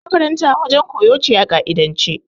Makaranta wajen koyo ce a ƙa'idance.